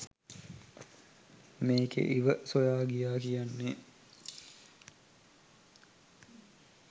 මේකෙ "ඉව" සොයා ගියා කියන්නෙ